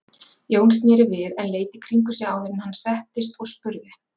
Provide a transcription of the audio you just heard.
Jón sneri við en leit í kringum sig áður en hann settist og spurði